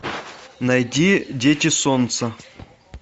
найди дети солнца